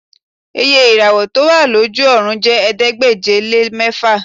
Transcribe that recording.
Iye ìràwọ̀ tí ó wà lójú ọ̀run ju ẹ̀ẹ́dégbèje-lé-mẹ́fà